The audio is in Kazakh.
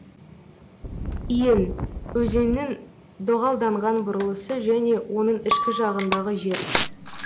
иін өзеннің доғалданған бұрылысы және оның ішкі жағындағы жер